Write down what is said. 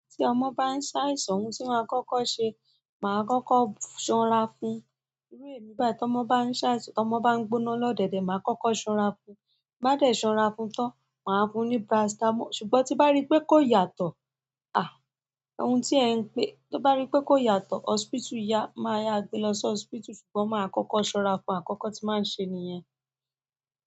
Tí ọmọ bá ń ṣàìsàn ohun tí màá kọ́kọ́ ṣe, màá kọ́kọ́ ṣan ra fún. Iru emi bayi ti ọmọ ba n se àìsàn, ti ọmọ ba n gbóná lodede mi maa koko san ra fún bi n bá dẹ̀ ṣan ra fún tan, màá fún un ní paracetamol. Ṣùgbọ́n tí n bá rí pé kó yàtọ̀, à, ohun tí ẹ ń pé, tí n bá rí pé kó yàtọ̀, hospital yá, máa ya gbé lọ sí hospital. Ṣùgbọ́n màá kọ́kọ́ ṣan ra fún àkọ́kọ́ tí màá n ṣe nìyẹn.